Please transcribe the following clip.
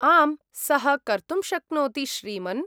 आम्, सः कर्तुं शक्नोति श्रीमन्!